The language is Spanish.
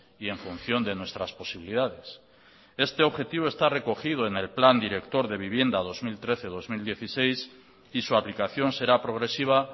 y en función de nuestras posibilidades este objetivo está recogido en el plan director de vivienda dos mil trece dos mil dieciséis y su aplicación será progresiva